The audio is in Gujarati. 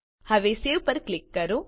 હવે સવે પર ક્લિક કરો